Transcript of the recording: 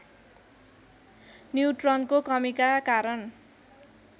न्युट्रनको कमीका कारण